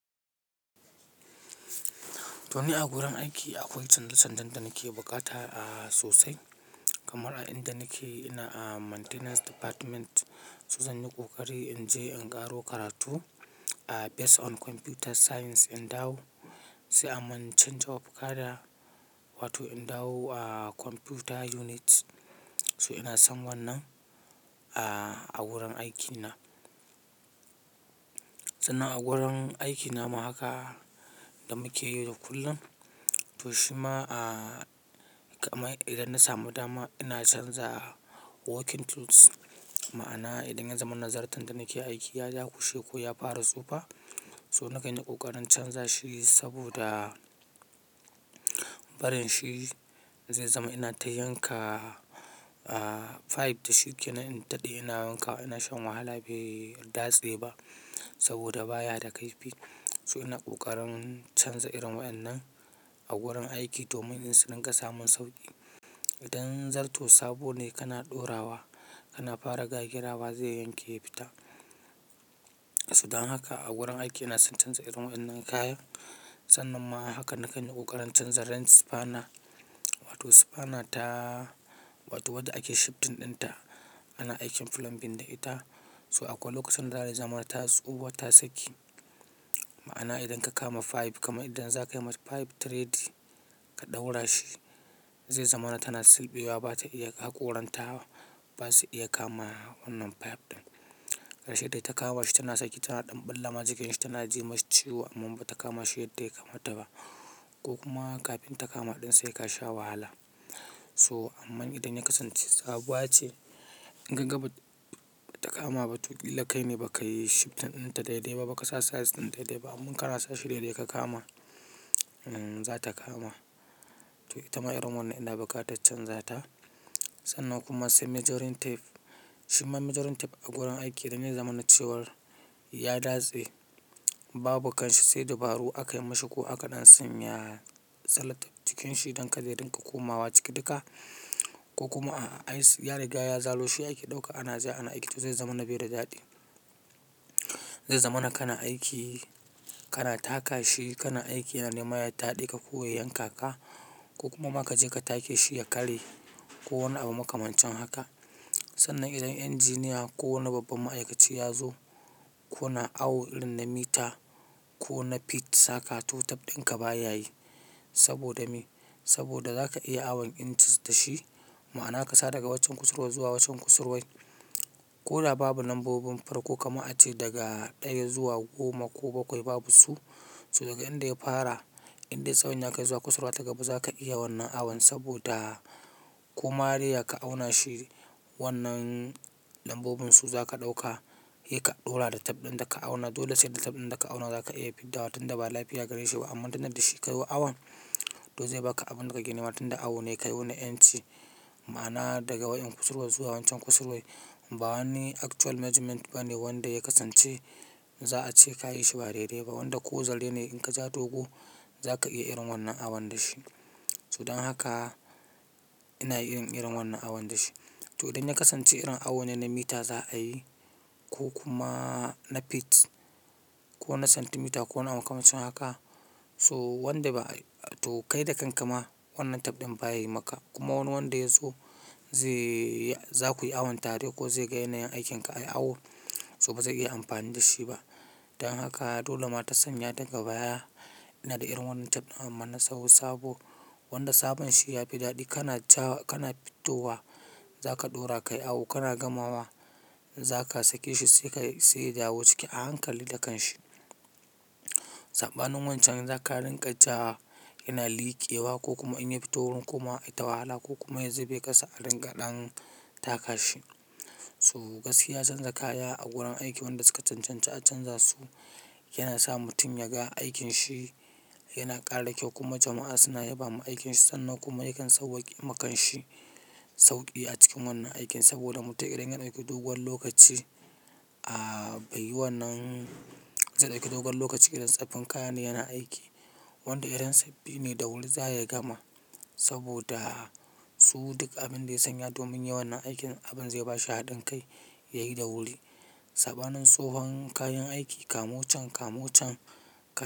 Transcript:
To ni a gurin aiki akwai canje-canjen da nake buƙata a sosai, kamar a inda nake ina a maintenance department. So zan yi ƙoƙari in je in ƙaro karatu a base on computer science in dawo sai a mun change of cadre. Wato in dawo a computer unit. To ina son wannan a gurin aikina. Sannan a gurin aiki na ma haka da muke yau da kullum. To shima a kamar idan na samu dama ina canza working tools. Ma'ana idan ya zamana zarton da nake aiki ya dakushe ko ya fara tsufa, so na ƙanyi ƙoƙarin in canza shi saboda. Barin shi zai zama ina ta yanka a pipe to shi ke nan in taɗi ina yanka ina shan wahala bai dase ba saboda baya da kaifi. So ina ƙoƙarin canza irin wannan a gurin aiki domin in su dinga samun sauƙi. Idan zarto sabo ne kana ɗorawa kana fara gagirawa zai yanke ya fita. So dan haka a wurin aiki na sun canza irin wannan kayan. Sannan ma haka nakan yi ƙoƙarin canza wrench spanner. Wato spanner ta wato wadda ake shifting ɗinta ana aikin plumbing da ita. To akwai lokacin da za ta zama tasu, ta saki. Ma'ana idan ka kama pipe kama fir idan za ka yi masa pipe thread ka ɗaura shi, zai zamana tana silɓewa ba ta iya haƙoranta ba, ba su iya kama wannan pipe ɗin. Rashin da ita kamawa shi tana saki tana ɗanɓalla ma jikin shi tana ji masa ciwo amma ba ta kama shi yadda ya kamata ba ko kuma kafin ta kama ɗin sai ka sha wahala. So amma idan ya kasance sabuwa ce in ka ga ba ta kama ba to ƙila kai ne ba ka yi shifting ɗinta daidai ba, ba ka sa size ɗin daidai ba. Amman kana sa shi daidai ka kama, za ta kama. To ita ma irin wannan ina buƙatar canza ta. Sannan kuma sai measuring tape. Shi ma measuring tape a gurin aiki idan ya zama na cewar ya datse babu kanshi sai dabaru akai mashi ko aka ɗan sanya salatif cikin shi don kada ya dinga komawa ciki duka. Ko kuma ai ya riga ya zaro shi ake ɗauka ana zuwa ana aiki to zai zamana bai da daɗi. Zai zamana kana aiki, kana taka shi kana aiki yana nema ya taɗeka ko ya yanka ka. Ko kuma ma ka je ka take shi ya karye. Ko wani abu makamancin haka. Sannan idan engineer ko wani babban ma'aikaci ya zo ku na awo irin na mita ko na feet saka to tab ɗin ka ba ya yi saboda me? Saboda za ka iya awon inches da shi. Ma'ana ka sa daga waccen kusurwa zuwa waccan kusurwai. Ma'ana ka sa daga waccen kusurwar zuwa waccan kusurwai. So daga inda ya fara, indai tsawon ya kai zuwa kusurwa ta gaba za ka iya wannan awon saboda. Koma dai ya ka auna shi wannan lambobin su za ka ɗauka, yi ka ɗora da tab ɗin da ka auna. Dole sai da tape ɗin da ka auna zaka iya fiddawa tunda ba lafiy gareshi ba, amma tunda da shi ka yo awon to zai baka abunda kake nema Wa tunda awo ne ka yo na inch. Ma'ana daga wannan kusurwa zuwa waccan kusurwai. Ba wani actual measurement ba ne wanda ya kasance za a ce ka yi shi ba daidai ba. Wanda ko zal ne in ka ja dogo za ka iya irin wannan awon da shi. To dan haka ina yin irin wannan along da shi. To idan ya kasance irin awo ne naa mita za a yi ko kuma na feet. Ko na centimeter ko wani abu makamacin haka so wanda ba to kai da kanka ma wannan tab ɗin ba yai maka. Kuma wani wanda ya zo zai, za ku yi awon tare ko zai ga yanayin aikinka ayi awo so ba za su iya amfani da shi ba. Dan haka dole ma ta sanya daga baya ina da irin wannan tab ɗin amma na sawa saabo wanda sabon shi ya fi daɗi kana ca wa kana fitowa za ka ɗora ka yi awo kana gamawa. Za ka sake shi sai ka sai ya dawo ciki a hankali da kanshi. Saɓanin wancan za ka rinƙa ja yana leakewa ko kuma in yafito wurin ko ma a yi tawala ko kuma ya zube kasa a ringa ɗan taka shi. So gaskiya canza kaya a wurin aiki wanda suka cancanci a canza su. Yana sa mutum ya ga aikin shi yana ƙara kyau kuma jama'a suna yabawa aikin shi. Sannan kuma yakan sauwaqema kan shi sauƙi a cikin wannan aikin saboda mutum idan yana aiki dogon lokaci. A bai yi wannan, zai i ɗauki dogon lokaci idan tsaffin kaya ne yana aiki wanda irin saɓɓi ne da wuri za ya gama saboda su duk abin da ya sanya domin yi wannan aikin abin zai ba shi haɗin kai ya yi da wuri. Saɓa nan tsohon kayan aiki kama wancan, kama wancan kama.